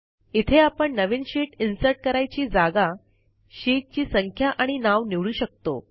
इथे आपण नवीन शीट इन्सर्ट करायची जागा शीटची संख्या आणि नाव निवडू शकतो